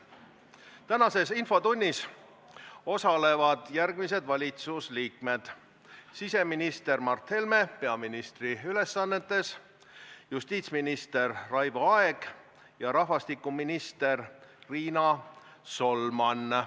Tänases infotunnis osalevad järgmised valitsusliikmed: siseminister Mart Helme peaministri ülesannetes, justiitsminister Raivo Aeg ja rahvastikuminister Riina Solman.